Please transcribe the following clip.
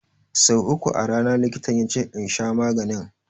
So uku a rana likitan yace in sha maganin.